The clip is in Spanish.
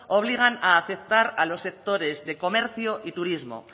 obligan a aceptar a los sectores del comercio y turismo